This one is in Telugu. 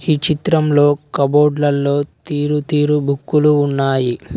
ఈ చిత్రంలో కబోర్డ్లలో తీరు తీరు బుక్కులు ఉన్నాయి.